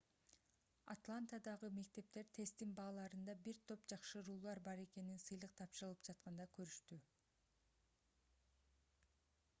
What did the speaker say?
атлантадагы мектептер тесттин бааларында бир топ жакшыруулар бар экенин сыйлык тапшырылып жатканда көрүштү